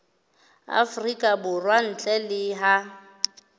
afrika borwa ntle le ha